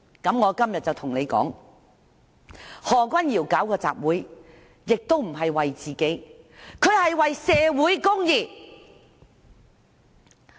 我今天就要對你們說，何議員舉辦集會亦不是為自己，而是為社會公義。